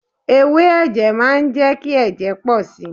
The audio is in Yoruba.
Ewé ẹ̀jẹ̀ má ń jẹ́ kí ẹ̀jẹ̀ pọ̀ si.